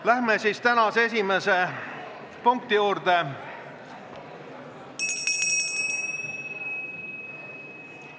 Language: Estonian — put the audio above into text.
Läheme tänase esimese punkti juurde.